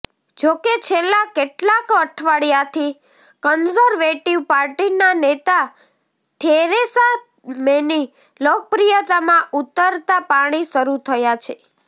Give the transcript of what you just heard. જોકે છેલ્લાં કેટલાક અઠવાડિયાથી કન્ઝર્વેટિવ પાર્ટીના નેતા થેરેસા મેની લોકપ્રિયતામાં ઉતરતા પાણી શરૂ થયા છે